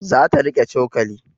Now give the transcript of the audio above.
Za ta riƙe cokali